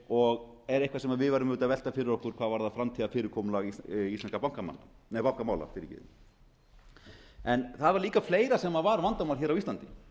og ef eitthvað sem við værum að velta fyrir okkur hvað varðar framtíðarfyrirkomulag íslenskra bankamála það var líka fleira sem var vandamál á íslandi